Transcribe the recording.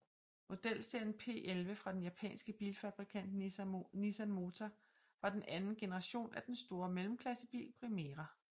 Modelserien P11 fra den japanske bilfabrikant Nissan Motor var den anden generation af den store mellemklassebil Primera